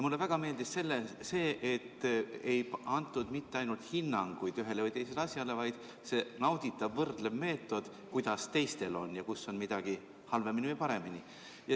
Mulle väga meeldis see, et ei antud mitte ainult hinnanguid ühele või teisele asjale, vaid oli nauditav võrdlev meetod, kuidas teistel on ja kus on midagi halvemini või paremini.